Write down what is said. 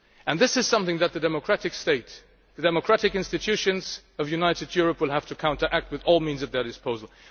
This is something that the democratic states and the democratic institutions of a united Europe will have to counteract with all the means at their disposal.